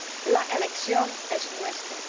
La elección es nuestra.